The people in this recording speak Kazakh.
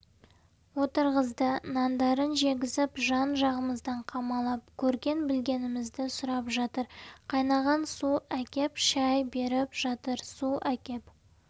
отырғызды нандарын жегізіп жан-жағымыздан қамалап көрген-білгенімізді сұрап жатыр қайнаған су әкеп шай беріп жатыр су әкеп